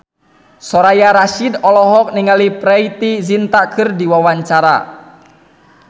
Soraya Rasyid olohok ningali Preity Zinta keur diwawancara